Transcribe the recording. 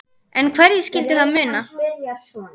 En hverju skyldi það muna?